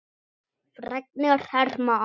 Fregnir herma að.